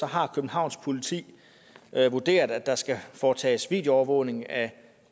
har københavns politi vurderet at der skal foretages videoovervågning af